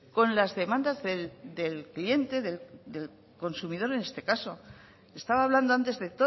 con las demandas del cliente del consumidor en este caso estaba hablando antes de